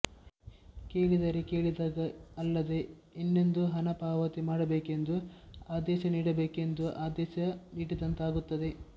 ಏಕೆಂದರೆ ಕೇಳಿದಾಗ ಅಲ್ಲದೆ ಇನ್ನೆಂದೋ ಹಣ ಪಾವತಿ ಮಾಡಬೇಕೆಂದು ಆದೇಶ ನೀಡಬೇಕೆಂದು ಆದೇಶ ನೀಡಿದಂತಾಗುತ್ತದೆ